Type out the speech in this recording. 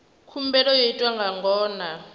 khumbelo yo itwa nga ngona